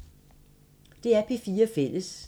DR P4 Fælles